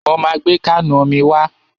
Mo ma gbé káànù omi wá.